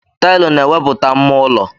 Taịlụ na-ewepụta mma ụlọ.